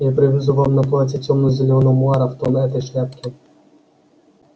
я привезу вам на платье темно-зелёного муара в тон этой шляпке